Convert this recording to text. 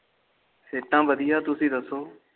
ਸਿਹਤਾਂ ਵਧੀਆ ਤੁਸੀ ਦਸਿਓ